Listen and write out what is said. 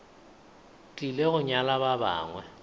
tlile go nyala ba bangwe